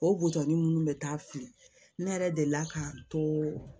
O butɔni minnu bɛ taa fili ne yɛrɛ deli la k'an to